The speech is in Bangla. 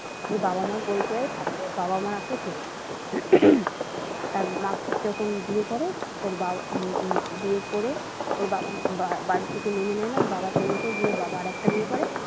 ওর বাবা মায়ের পরিচয়ে থাকে বাবা মা ওকে চেনেন তার মা যখন বিয়ে করে ওর বাড়ি থেকে মেনে নেয় না ওর বাবা চলে যায় গিয়ে ওর বাবা আর একটা বিয়ে করে।